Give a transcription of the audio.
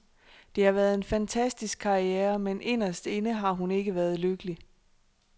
Det har været en fantastisk karriere, men inderst inde har hun ikke været lykkelig.